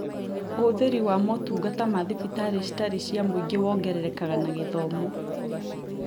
Ũhũthĩri wa motungata ma thibitarĩ citarĩ cia mũingĩ wongererekaga na gĩthomo